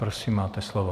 Prosím, máte slovo.